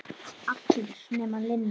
Allar nema Linja.